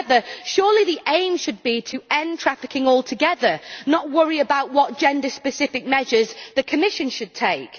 However, surely the aim should be to end trafficking altogether not worry about what gender specific measures the Commission should take.